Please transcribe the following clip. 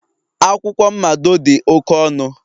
akwụkwọ mmado dị oke ọnụ